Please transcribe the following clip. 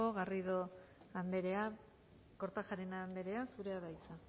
garrido andrea kortajarena andrea zurea da hitza